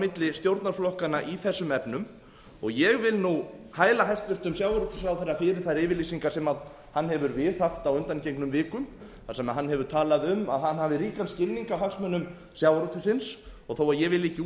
milli stjórnarflokkanna í þessum efnum og ég vil nú hæla hæstvirtur sjávarútvegsráðherra fyrir þær yfirlýsingar sem hann hefur viðhaft á undangengnum vikum þar sem hann hefur talað um að hann hafi ríkan skilning á hagsmunum sjávarútvegsins þó að ég